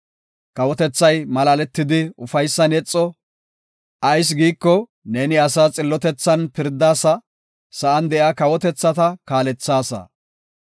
Kawotethay malaaletidi ufaysan yexo; ayis giiko, neeni asaas xillotethan pirdaasa; sa7an de7iya kawotethata kaalethaasa. Salaha